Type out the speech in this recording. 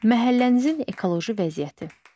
Məhəllənizin ekoloji vəziyyəti.